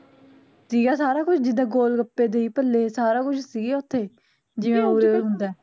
ਸੀਗਾ ਸਾਰਾ ਕੁਛ ਜਿਦਾ ਗੋਲਗੱਪੇ, ਦਹੀ ਭਲੇ ਸਾਰਾ ਕੁਜ ਸੀਗੇ ਓਥੇ ਜਿਵੇਂ ਉਰੇ ਹੁੰਦਾ ਐ